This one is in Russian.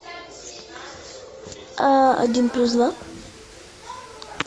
один плюс два